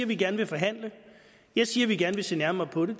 vi gerne vil forhandle jeg siger at vi gerne vil se nærmere på det